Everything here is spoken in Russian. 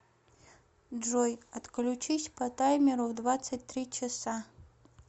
джой отключись по таймеру в двадцать три часа